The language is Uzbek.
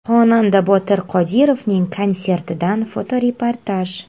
Xonanda Botir Qodirovning konsertidan fotoreportaj.